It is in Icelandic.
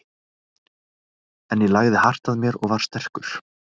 En ég lagði hart að mér og var sterkur.